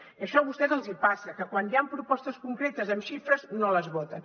i això a vostès els hi passa que quan hi han propostes concretes amb xifres no les voten